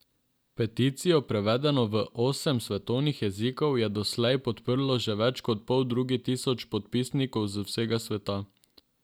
Peticijo, prevedeno v osem svetovnih jezikov, je doslej podprlo že več kot poldrugi tisoč podpisnikov z vsega sveta.